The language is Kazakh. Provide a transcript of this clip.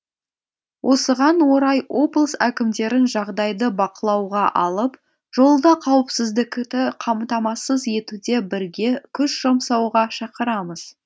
осыған орай облыс әкімдерін жағдайды бақылауға алып жолда қауіпсіздікіті қамтамасыз етуде бірге күш жұмсауға шақырамыз